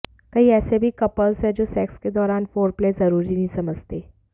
कई ऐसे भी कपल्स हैं जो सेक्स के दौरान फोरप्ले जरूरी नहीं समझते